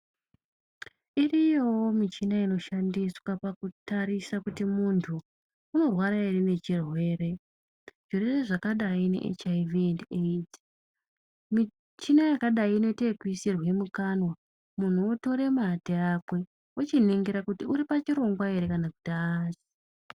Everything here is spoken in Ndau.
Iriyo michina inoshandiswa pakutarisa kuti muntu, unorwara here nechirwere. Zvirwere zvakadayi ne HIV endi AIDS. Michina yakadayi inoyite yekuyisirwe mukanwa, munhu wotore mate akwe, ochiningira kuti uripachirongwa here kana kuti hari.